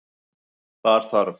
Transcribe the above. Þar þarf